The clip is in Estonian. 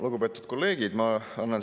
Lugupeetud kolleegid!